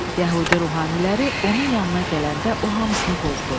Yəhudi ruhaniləri onun yanına gələndə o hamısını qovdu.